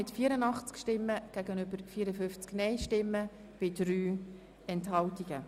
Sie haben diese Gesetzesvorlage in erster Lesung angenommen.